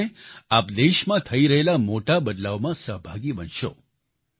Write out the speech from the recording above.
તેવું કરીને આપ દેશમાં થઈ રહેલા મોટા બદલાવમાં સહભાગી બનશો